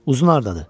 Uzun hardadır?